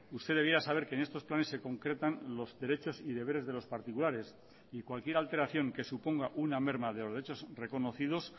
usted debiera saber que en estos planes se concretan los derechos y deberes de los particulares y cualquier alteración que suponga una merma de los derechos reconocidos